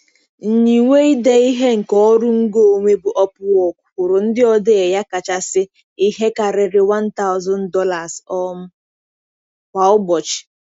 Nyiwe ide ihe nke ọrụ ngo onwe bụ Upwork kwụrụ ndị odee ya kachasị ihe karịrị $1,000 um kwa ụbọchị.